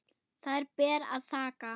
Þær ber að þakka.